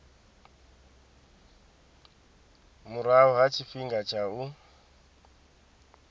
murahu ha tshifhinga tsha u